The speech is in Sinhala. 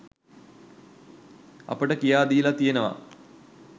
අපට කියා දීලා තියෙනවා.